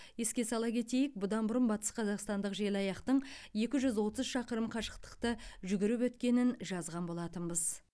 еске сала кетейік бұдан бұрын батысқазақстандық желаяқтың екі жүз отыз шақырым қашықтықты жүгіріп өткенін жазған болатынбыз